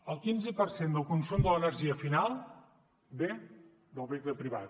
el quinze per cent del consum de l’energia final ve del vehicle privat